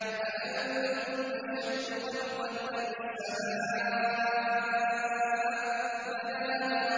أَأَنتُمْ أَشَدُّ خَلْقًا أَمِ السَّمَاءُ ۚ بَنَاهَا